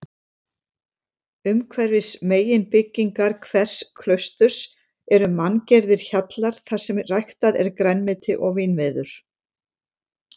Umhverfis meginbyggingar hvers klausturs eru manngerðir hjallar þarsem ræktað er grænmeti og vínviður.